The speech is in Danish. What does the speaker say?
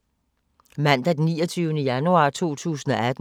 Mandag d. 29. januar 2018